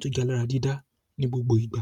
tújalára dídá ní gbogbo ìgbà.